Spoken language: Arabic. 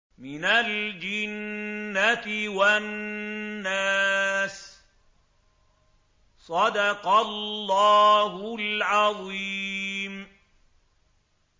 مِنَ الْجِنَّةِ وَالنَّاسِ